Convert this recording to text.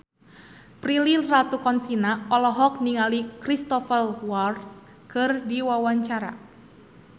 Prilly Latuconsina olohok ningali Cristhoper Waltz keur diwawancara